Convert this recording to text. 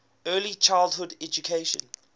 early childhood education